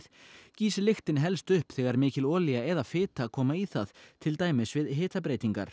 gýs lyktin helst upp þegar mikil olía eða fita koma í það til dæmis við hitabreytingar